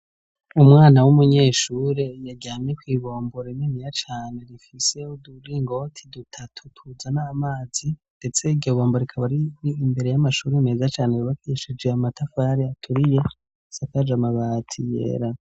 Umwana w'umunyeshure yaryamye kw'ibombo rininiya cane rifise uturingoti dutatu tuzana amazi ndetse iryo bombo rikaba rir'imbere y'amashure meza cane yubakishije amatafari aturiye isakaj'amabati yera.